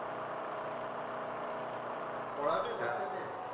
পড়াবে বাচ্ছাদের?